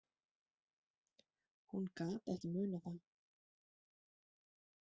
Hún gat ekki munað það.